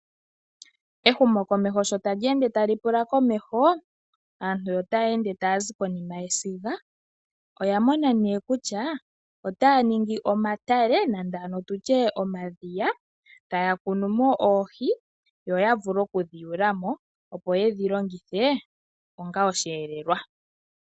Ehumokomeho sho tali ende lyu uka komeho aantu otaya ende taya zi konima yesiga oya mona nee kutya otaya ningi omatale nenge ano tutye omadhiya taya kunu mo oohi, yo ya vule oku dhi tula mo, opo yedhi longithe onga osheelelwa.